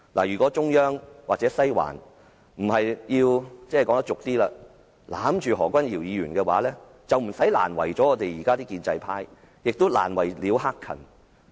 如果中央或"西環"今次不是要"攬住"何君堯議員，便不用這樣難為建制派和難為了"克勤"。